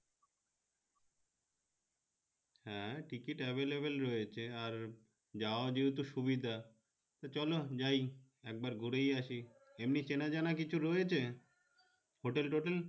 হ্যাঁ ticket available রয়েছে আর যাওয়া যেহেতু সুবিধা তো চলো যাই একবার ঘুরেই আসি এমনি চেনা জানা কিছু রয়েছে hotel totel